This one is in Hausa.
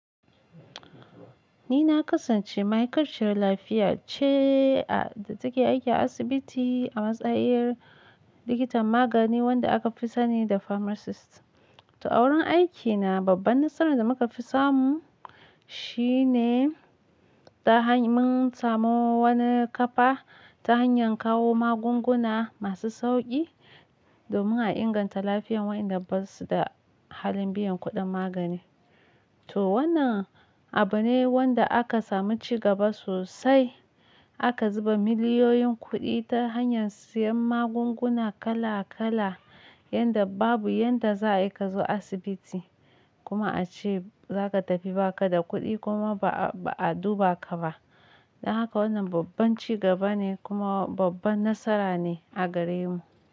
Nina kasance ma'ikaciyar lafiya ce a da take aiki a asibiti a matsayin likitan magani wanda aka fi sani da Pharmacist. To, a wurin aikina babban nasara da muka fi samu shine ta hanyar mun samu wani kafa ta hanyar kawo magunguna masu sauƙi domin a inganta lafiyar waƴanda basu da halin biyan kuɗin magani. To, wannan abu ne wanda aka samu ci gaba sosai. Aka zuba miliyoyin kuɗi ta hanyar siyan magunguna kala kala yanda babu yadda za'ayi kazo asibiti kuma ace zaka tafi baka da kuɗi kuma ba'a duba kaba. Don haka wannan babban ci gaba ne kuma babban nasara ne a garemu.